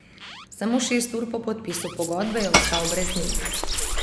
Samo šest ur po podpisu pogodbe, je ostal brez nje.